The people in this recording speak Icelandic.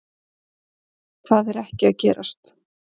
Það er ekki að gerast